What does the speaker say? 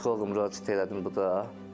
Sonra psixoloqa müraciət elədim burda.